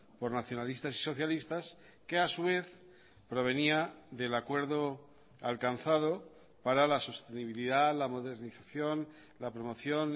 por nacionalistas y socialistas que a su vez provenía del acuerdo alcanzado para la sostenibilidad la modernización la promoción